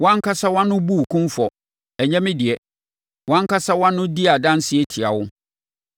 Wo ankasa wʼano bu wo kumfɔ, ɛnyɛ me deɛ; wʼankasa wʼano di adanseɛ tia wo.